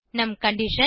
நம் கண்டிஷன்